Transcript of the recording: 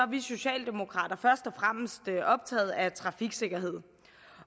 vi socialdemokrater først og fremmest optaget af trafiksikkerhed